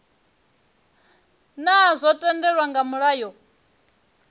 naa zwo tendelwa nga mulayo